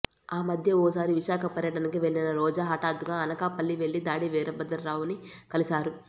ఆ మధ్య ఓ సారి విశాఖ పర్యటనకి వెళ్లిన రోజా హఠాత్తుగా అనకాపల్లి వెళ్లి దాడి వీరభద్రరావు ని కలిశారు